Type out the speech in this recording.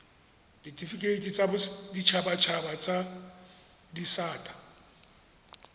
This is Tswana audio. ditifikeiti tsa boditshabatshaba tsa disata